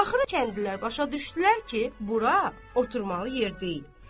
Axırı kəndlilər başa düşdülər ki, bura oturmalı yer deyil.